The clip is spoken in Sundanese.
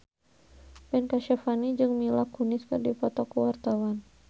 Ben Kasyafani jeung Mila Kunis keur dipoto ku wartawan